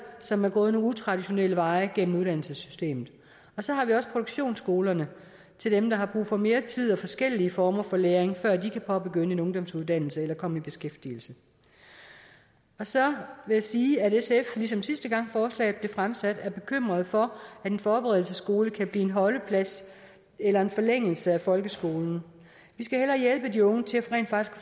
som er gået nogle utraditionelle veje gennem uddannelsessystemet så har vi også produktionsskolerne til dem der har brug for mere tid og forskellige former for læring før de kan påbegynde en ungdomsuddannelse eller komme i beskæftigelse så vil jeg sige at sf ligesom sidste gang forslaget blev fremsat er bekymret for at en forberedelsesskole kan blive en holdeplads eller en forlængelse af folkeskolen vi skal hellere hjælpe de unge til rent faktisk